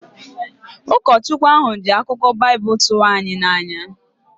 Ụkọchukwu ahụ ji akụkọ Baịbụl tụrụ anyị n’anya